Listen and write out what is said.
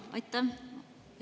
Aitäh!